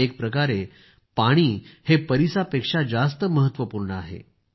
एकप्रकारे पाणी हे परिसापेक्षा जास्त महत्वपूर्ण आहे